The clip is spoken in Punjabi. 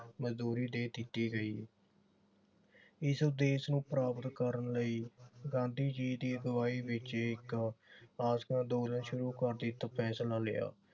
ਮਨਜੂਰੀ ਦੇ ਦਿੱਤੀ ਗਈ। ਇਸ ਉਦੇਸ਼ ਨੂੰ ਪ੍ਰਾਪਤ ਕਰਨ ਲਈ ਗਾਂਧੀ ਜੀ ਦੀ ਅਗਵਾਈ ਵਿਚ ਇਕ ਅੰਦੋਲਨ ਸ਼ੁਰੂ ਕਰਨ ਦਾ ਫੈਸਲਾ ਲਿਆ